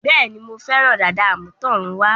Bẹ́ẹ̀ni, Mo fẹ́ràn dàda àmútọ̀runwá